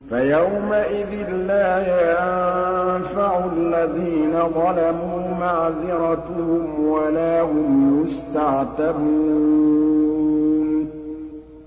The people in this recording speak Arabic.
فَيَوْمَئِذٍ لَّا يَنفَعُ الَّذِينَ ظَلَمُوا مَعْذِرَتُهُمْ وَلَا هُمْ يُسْتَعْتَبُونَ